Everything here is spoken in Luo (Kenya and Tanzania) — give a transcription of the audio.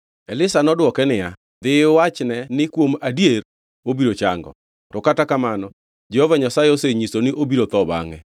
Elisha nodwoke niya, “Dhi iwachne ni, ‘Kuom adier obiro chango.’ To kata kamano Jehova Nyasaye osenyisa ni obiro tho bangʼe.”